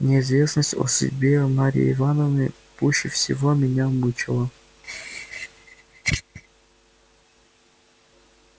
неизвестность о судьбе марьи ивановны пуще всего меня мучила